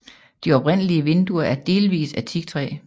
De oprindelige vinduer er delvis af teaktræ